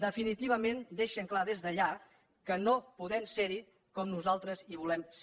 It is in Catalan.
definitivament deixen clar des d’allà que no podem ser hi com nosaltres hi volem ser